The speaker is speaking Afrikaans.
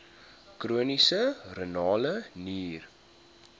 chroniese renale nier